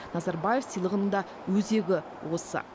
назарбаев сыйлығының да өзегі осы